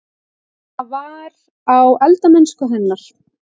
Það var: á eldamennsku hennar.